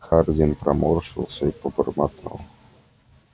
хардин поморщился и пробормотал